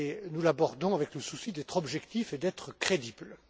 Nous l'abordons avec le souci d'être objectif et d'être crédible.